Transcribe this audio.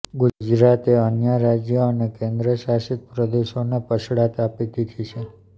ગુજરાતે અન્ય રાજ્યો અને કેન્દ્ર શાશિત પ્રદેશોને પછડાટ આપી દીધી છે